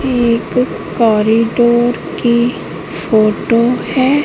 एक कॉरिडोर की फोटो है।